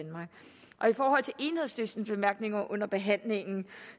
forhold til enhedslistens bemærkninger under behandlingen